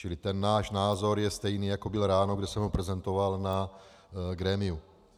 Čili ten náš názor je stejný, jako byl ráno, kdy jsem ho prezentoval na grémiu.